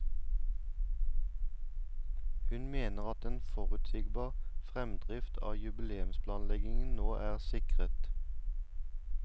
Hun mener at en forutsigbar fremdrift av jubileumsplanleggingen nå er sikret.